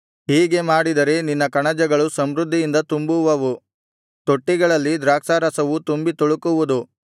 ಹೀಗೆ ಮಾಡಿದರೆ ನಿನ್ನ ಕಣಜಗಳು ಸಮೃದ್ಧಿಯಿಂದ ತುಂಬುವವು ತೊಟ್ಟಿಗಳಲ್ಲಿ ದ್ರಾಕ್ಷಾರಸವು ತುಂಬಿ ತುಳುಕುವುದು